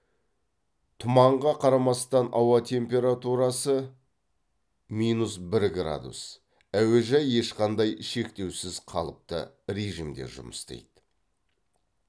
тұманға қарамастан ауа температурасы минус бір градус әуежай ешқандай шектеусіз қалыпты режимде жұмыс істейді